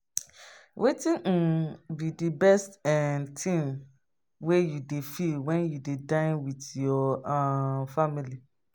wetin um be di best um thing wey you dey feel when you dey dine with your um family?